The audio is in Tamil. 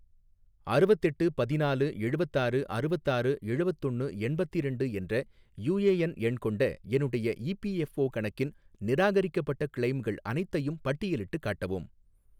அறுவத்தெட்டு பதினாலு எழுவத்தாறு அறுவத்தாறு எழுவத்தொன்னு எண்பத்திரண்டு என்ற யூஏஎன் எண் கொண்ட என்னுடைய இபிஎஃஓ கணக்கின் நிராகரிக்கப்பட்ட கிளெய்ம்கள் அனைத்தையும் பட்டியலிட்டுக் காட்டவும்